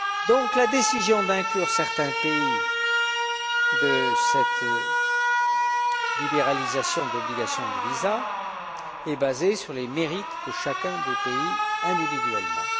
Donc, la décision d'inclure certains pays dans cette libéralisation d'obligation de visa est basée sur les mérites de chacun des pays individuellement.